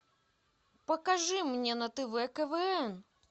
покажи мне на тв квн